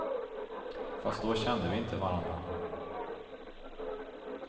Fast då kände vi inte varandra.